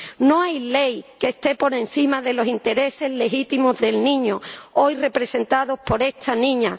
No hay ley que esté por encima de los intereses legítimos del niño, hoy representados por esta niña.